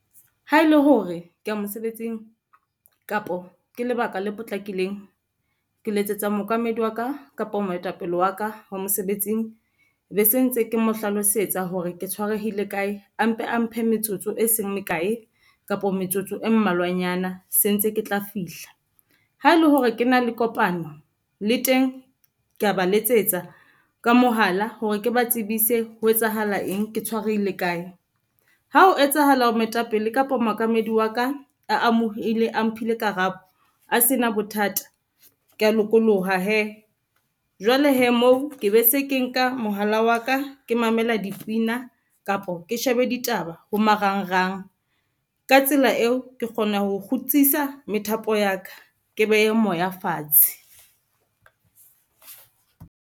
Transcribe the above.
Ha e le hore ke ya mosebetsing kapo ke lebaka le potlakileng, ke letsetsa mookamedi wa ka kapa moetapele wa ka wa mosebetsing be se ntse ke mo hlalosetsa hore ke tshwarehile kae. A mpe a mphe metsotso e seng mekae kapa metsotso e mmalwanyana se ntse ke tla fihla. Ha e le hore ke na le kopano le teng ke a ba letsetsa ka mohala hore ke ba tsebise ho etsahala eng ke tshwarehile kae. Ha ho etsahala hore moetapele kapa mookamedi wa ka a amohele a mphile karabo, a se na bothata. Ke a lokoloha hee, jwale hee moo ke be se ke nka mohala wa ka ke mamela dipina kapa ke shebe ditaba ho marangrang. Ka tsela eo ke kgona ho kgutsisa methapo ya ka ke behe moya fatshe.